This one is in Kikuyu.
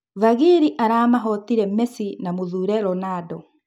Vagili aramahotire Mesi na Mũthure Ronando.